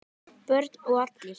Börn og allir?